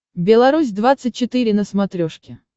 белорусь двадцать четыре на смотрешке